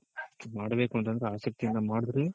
ಮಾಡ್ಬೇಕು ಅಂತಂದ್ರೆ ಆಸಕ್ತಿ ಇಂದ ಮಾಡಿದ್ರೆ